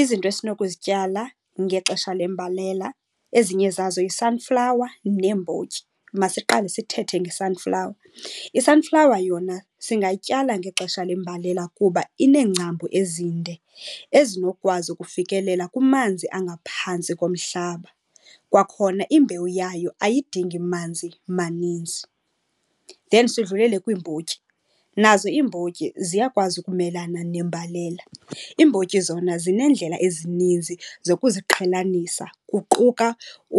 Izinto esinokuzityala ngexesha lembalela, ezinye zazo yi-sunflower neembotyi. Masiqale sithethe nge-sunflower. I-sunflower yona singayityala ngexesha lembalela kuba ineengcambu ezinde ezinokwazi ukufikelela kumanzi angaphantsi komhlaba. Kwakhona imbewu yayo ayidingi manzi maninzi. Then sidlulele kwiimbotyi. Nazo iimbotyi ziyakwazi ukumelana nembalela. Iimbotyi zona zineendlela ezininzi zokuziqhelanisa, kuquka